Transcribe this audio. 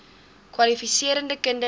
kwalifiserende kinders ly